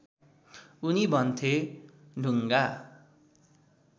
उनी भन्थे ढुङ्गा